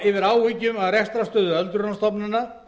yfir áhyggjum af rekstrarstöðu öldrunarstofnana